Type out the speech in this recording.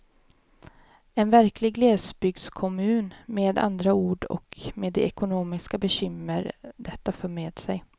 En verklig glesbygdskommun med andra ord och med de ekonomiska bekymmer detta för med sig.